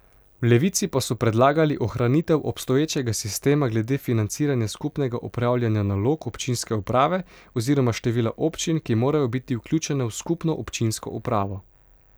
V Levici pa so predlagali ohranitev obstoječega sistema glede financiranja skupnega opravljanja nalog občinske uprave oziroma števila občin, ki morajo biti vključene v skupno občinsko upravo.